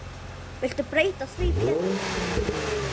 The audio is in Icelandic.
Viltu breyta því Pétur.